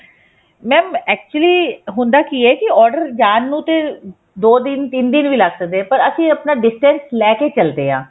mam actually ਹੁੰਦਾ ਕੀ ਹੈ ਕਿ order ਜਾਣ ਨੂੰ ਤੇ ਦੋ ਦਿਨ ਤਿੰਨ ਦਿਨ ਵੀ ਲੱਗ ਸਕਦੇ ਹੈ ਪਰ ਅਸੀਂ ਆਪਣਾ distance ਲੈਕੇ ਚੱਲਦੇ ਹਾਂ